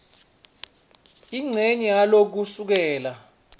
incenye yalo kusukela